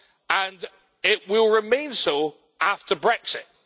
and it will remain so after Brexit.